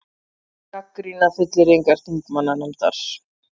Gagnrýna fullyrðingar þingmannanefndar